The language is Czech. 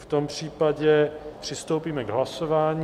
V tom případě přistoupíme k hlasování.